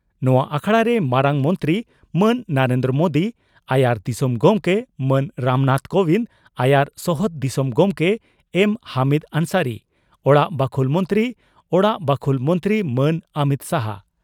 ᱱᱚᱣᱟ ᱟᱠᱷᱲᱟ ᱨᱮ ᱢᱟᱨᱟᱝ ᱢᱚᱱᱛᱨᱤ ᱢᱟᱱ ᱱᱚᱨᱮᱱᱫᱨᱚ ᱢᱳᱫᱤ, ᱟᱭᱟᱨ ᱫᱤᱥᱚᱢ ᱜᱚᱢᱠᱮ ᱢᱟᱱ ᱨᱟᱢᱱᱟᱛᱷ ᱠᱚᱵᱤᱱᱫᱽ, ᱟᱭᱟᱨ ᱥᱚᱦᱚᱫ ᱫᱤᱥᱚᱢ ᱜᱚᱢᱠᱮ ᱮᱢᱹ ᱦᱚᱢᱤᱫᱽ ᱟᱱᱥᱟᱨᱤ, ᱚᱲᱟᱜ ᱵᱟᱠᱷᱩᱞ ᱢᱚᱱᱛᱨᱤ ᱚᱲᱟᱜ ᱵᱟᱠᱷᱩᱞ ᱢᱚᱱᱛᱨᱤ ᱢᱟᱱ ᱚᱢᱤᱛ ᱥᱟᱦᱟ